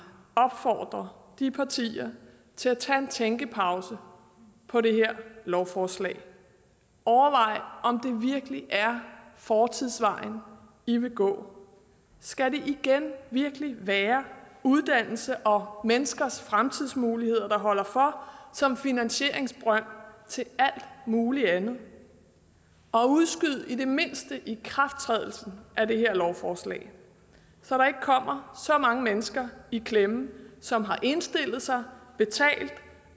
opfordre de partier til at tage en tænkepause fra det her lovforslag og overvej om det virkelig er fortidsvejen i vil gå skal det igen virkelig være uddannelse og menneskers fremtidsmuligheder der holder for som finansieringsbrønd til alt muligt andet udskyd i det mindste ikrafttrædelsen af det her lovforslag så der ikke kommer så mange mennesker i klemme som har indstillet sig betalt